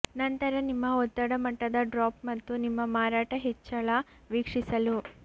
ನಂತರ ನಿಮ್ಮ ಒತ್ತಡ ಮಟ್ಟದ ಡ್ರಾಪ್ ಮತ್ತು ನಿಮ್ಮ ಮಾರಾಟ ಹೆಚ್ಚಳ ವೀಕ್ಷಿಸಲು